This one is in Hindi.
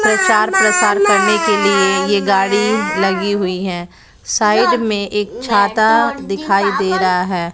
प्रचार प्रसार करने के लिए ये गाड़ी लगी हुई हैं साइड में एक छाता दिखाई दे रहा है।